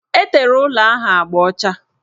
Etere ụlọ ahụ agba ọcha